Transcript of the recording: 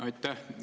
Aitäh!